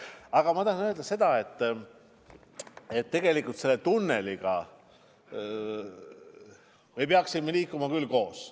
" Aga ma tahan öelda seda, et tegelikult selle tunneliga me peaksime koos edasi liikuma.